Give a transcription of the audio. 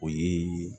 O ye